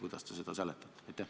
Kuidas te seda seletate?